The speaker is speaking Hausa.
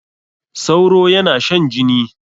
Sauro yana shan jini.